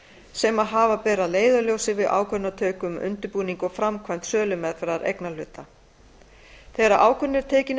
sem að hafa ber að leiðarljósi við ákvörðunartöku um undirbúning og framkvæmd sölumeðferðar eignarhluta þegar ákvörðun er tekin um